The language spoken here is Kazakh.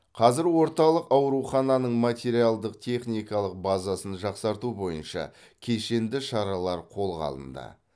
қазір орталық аурухананың материалдық техникалық базасын жақсарту бойынша кешенді шаралар қолға алынды